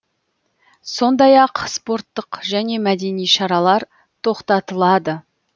сондай ақ спорттық және мәдени шаралар тоқтатылады